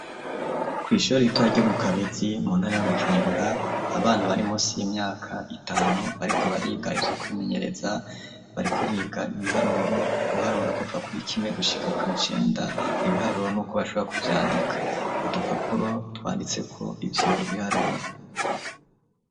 Kwishure ritoya ryo mu Kabezi mu ntara ya Bujumbura ,abana bari musi y'imyaka itanu bariko bariga ivyo kwimenyereza , bariko biga ibiharuro, guharura kuva kuri rimwe gushika kw'icenda, ibiharuro nuko bashobora kuvyandika, udupapuro twanditseko ivyo biharuro.